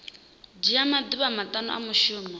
dzhia maḓuvha maṱanu a mushumo